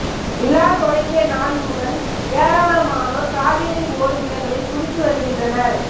விழா தொடங்கிய நாள் முதல் ஏராளமானோர் காவிரி ஓடும் இடங்களில் குளித்து வருகின்றனர்